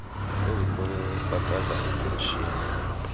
ezikolweni ukubhatala iipenshini